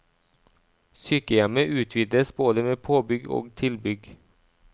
Sykehjemmet utvides både med påbygg og tilbygg.